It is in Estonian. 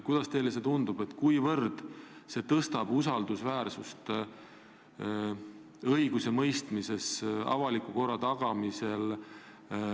Kuidas teile tundub, kas see suurendab usaldusväärsust õigusemõistmises ja avaliku korra tagamisel?